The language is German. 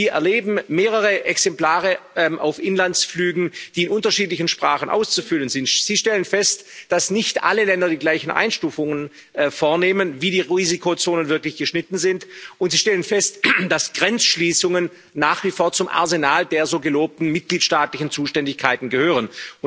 Sie erleben mehrere Exemplare auf Inlandsflügen, die in unterschiedlichen Sprachen auszufüllen sind. Sie stellen fest, dass nicht alle Länder die gleichen Einstufungen vornehmen, wie die Risikozonen wirklich geschnitten sind, und sie stellen fest, dass Grenzschließungen nach wie vor zum Arsenal der so gelobten mitgliedstaatlichen Zuständigkeiten gehören.